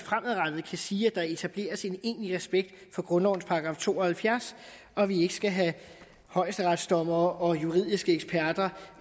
kan sige at der fremadrettet etableres en egentlig respekt for grundlovens § to og halvfjerds og at vi ikke skal have højesteretsdommere og juridiske eksperter